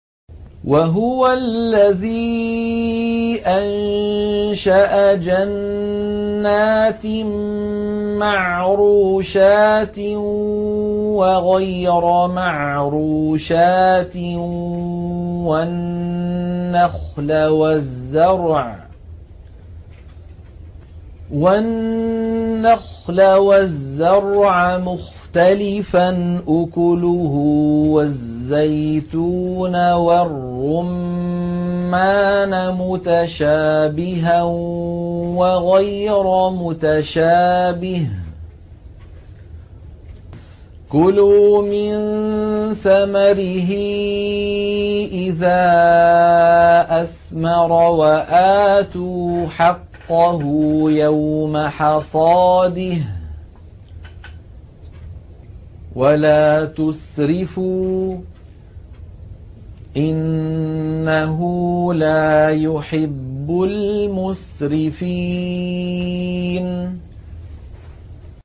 ۞ وَهُوَ الَّذِي أَنشَأَ جَنَّاتٍ مَّعْرُوشَاتٍ وَغَيْرَ مَعْرُوشَاتٍ وَالنَّخْلَ وَالزَّرْعَ مُخْتَلِفًا أُكُلُهُ وَالزَّيْتُونَ وَالرُّمَّانَ مُتَشَابِهًا وَغَيْرَ مُتَشَابِهٍ ۚ كُلُوا مِن ثَمَرِهِ إِذَا أَثْمَرَ وَآتُوا حَقَّهُ يَوْمَ حَصَادِهِ ۖ وَلَا تُسْرِفُوا ۚ إِنَّهُ لَا يُحِبُّ الْمُسْرِفِينَ